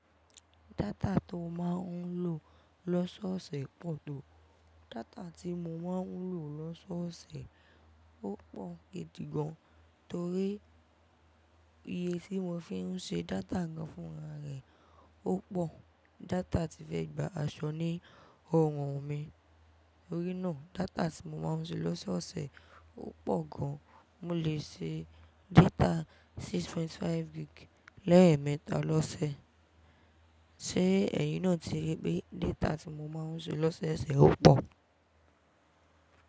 Data tí ó máa ń lò lọ́sọ́ọ̀ọ́ ṣẹ̀ pọ̀ tó. Data tí mo máa ń lò lọ́sọ́ọ̀ọ́ ṣẹ̀ ó pọ̀ gidi gan, torí iye tí mo fi ń ṣe data gan fún ara rẹ̀ ó pọ̀. Data tí fẹ́ gba aṣọ ni ọrùn ún mi. Torí náà, data tí mo máa ń ṣe lọ́sọ́ọ̀ọ́ ṣẹ̀ ó pọ̀ gan. Mo lè ṣe data six point five gig lẹ́ẹ̀ẹ̀mẹta lọ́sẹ̀. Ṣé ẹ̀yin náà ti rí pé data tí mo máa ń ṣe lọ́sọ́ọ̀ọ́ ṣẹ̀ ó pọ̀?